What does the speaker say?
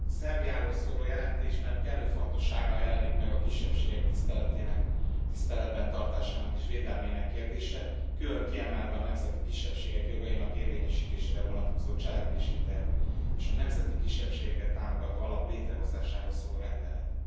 Elnök Úr! A Szerbiáról szóló jelentésében kellő fontossággal jelenik meg a kisebbségek tiszteletben tartásának és védelmének kérdése, külön kiemelve a nemzeti kisebbségek jogainak érvényesítésére vonatkozó cselekvési terv és a nemzeti kisebbségeket támogató alap létrehozásáról szóló rendeletet.